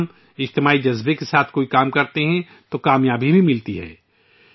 جب ہم اجتماعیت کے اس جذبے کے ساتھ کوئی بھی کام کرتے ہیں تو ہمیں کامیابی بھی ملتی ہے